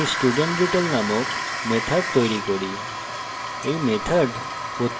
তাই আমি studentdetail named method তৈরী করি